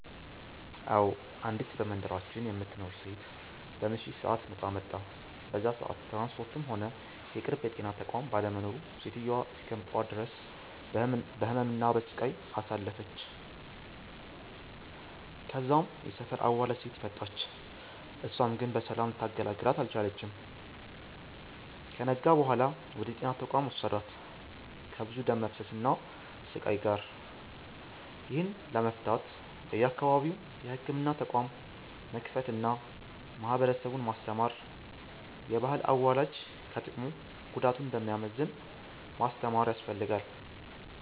አዎ፤ አንዲት በመንደራችን የምትኖር ሴት በምሽት ሰአት ምጧ መጣ። በዛ ሰአት ትራንስፖርትም ሆነ የቅርብ የጤና ተቋም ባለመኖሩ ሴትዮዋ እስከ ጠዋት ድረስ በህመም እና በሰቃይ አሳልፍለች። ከዛም የሰፈር አዋላጅ ሴት መጣች እሳም ግን በሰላም ልታገላግላት አልቻለችም። ከነጋ በኋላ ወደ ጤና ተቋም ወሰዷት ከብዙ ደም መፍሰስ እና ስቃይ ጋር። ይህንን ለመፍታት በየአካባቢው የህክምና ተቋም መክፈት አና ማህበረሰቡን ማስተማር፤ የባህል አዋላጅ ከጥቅሙ ጉዳቱ እንደሚያመዝን ማስተማር ያስፈልጋል።